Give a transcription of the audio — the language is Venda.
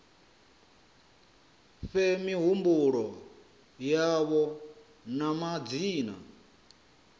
fhe mihumbulo yavho na madzina